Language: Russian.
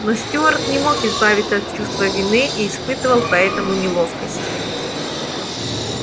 но стюарт не мог избавиться от чувства вины и испытывал поэтому неловкость